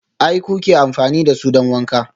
aA kuke amfani da su don wanka?